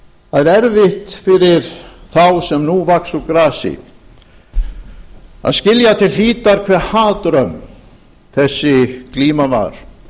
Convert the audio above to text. er erfitt fyrir þá sem nú vaxa úr grasi að skilja til hlítar hve hatrömm þessi glíma var